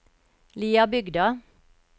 Liabygda